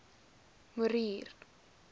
morier